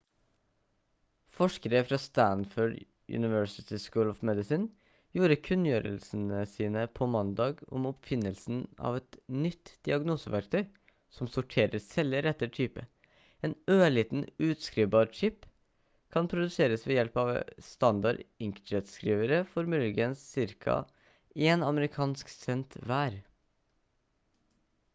forskere fra stanford university school of medicine gjorde kunngjørelsen på mandag om oppfinnelsen av et nytt diagnoseverktøy som sorterer celler etter type en ørliten utskrivbar chip kan produseres ved hjelp av standard inkjettskrivere for muligens ca én amerikansk cent hver